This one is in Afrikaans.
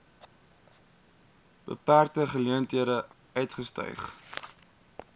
beperkte geleenthede uitgestyg